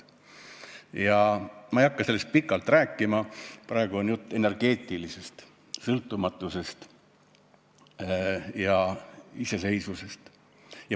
Ma ei hakka sellest pikalt rääkima, praegu on jutt energeetilisest sõltumatusest ja iseseisvusest.